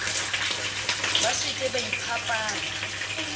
ba se ke ba iphapanya